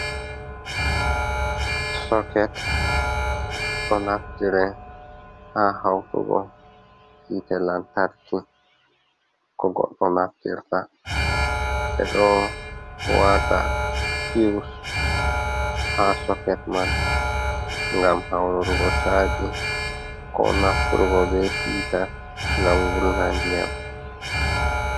Soket ɗo naftire ha hautugo hite lantarki ko goɗɗo naftirta ɓe ɗo wata fiwus ha soket man ngam haururgo chaji ko nafturgo be hiita ngam wulna ndiyam.